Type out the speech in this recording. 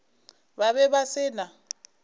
ba be ba se na